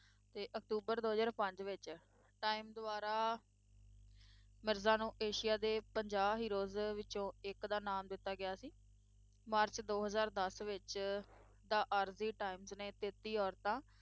ਤੇ ਅਕਤੂਬਰ ਦੋ ਹਜ਼ਾਰ ਪੰਜ ਵਿੱਚ time ਦੁਆਰਾ ਮਿਰਜ਼ਾ ਨੂੰ ਏਸ਼ੀਆ ਦੇ ਪੰਜਾਹ heroes ਵਿੱਚੋਂ ਇੱਕ ਦਾ ਨਾਮ ਦਿੱਤਾ ਗਿਆ ਸੀ, ਮਾਰਚ ਦੋ ਹਜ਼ਾਰ ਦਸ ਵਿੱਚ ਦਾ ਆਰਜ਼ੀ ਟਾਈਮਜ਼ ਨੇ ਤੇਤੀ ਔਰਤਾਂ